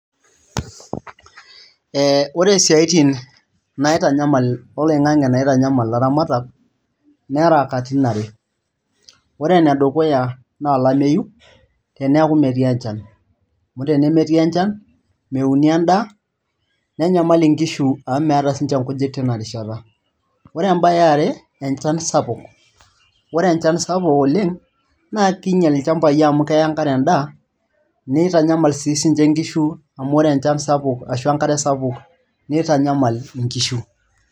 Ore isiaitin oloing'ang'e nitanyamal ilaramatak nera katitin are ore enedukuya naa olameyu, teneeku metii enchan amu tenemetii enchan, meuni endaa nenyamal nkishu amu meeta since nkujit tina rishata ore embaye e are enchan sapuk, ore enchan sapuk oleng' naa kiinyial ilchambai amu keya enkare endaa nitanyamal siinche nkishu amu ore enchan ashu enkare sapuk nitanyamal nkishu.